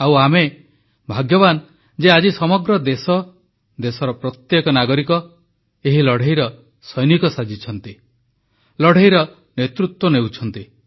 ଆଉ ଆମେ ଭାଗ୍ୟବାନ ଯେ ଆଜି ସମଗ୍ର ଦେଶ ଦେଶର ପ୍ରତ୍ୟେକ ନାଗରିକ ଏହି ଲଢ଼େଇର ସୈନିକ ସାଜିଛନ୍ତି ଲଢ଼େଇର ନେତୃତ୍ୱ ନେଉଛନ୍ତି